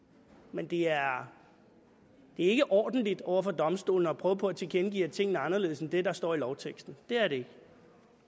men det er ikke ordentligt over for domstolene at prøve på at tilkendegive at tingene er anderledes end det der står i lovteksten det er det